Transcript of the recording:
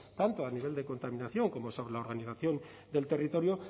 tanto a nivel de contaminación como sobre la organización del territorio